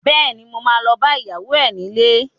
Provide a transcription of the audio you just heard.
Bẹ́ẹ̀ni, mo ma lọ bá ìyàwó ẹ nílé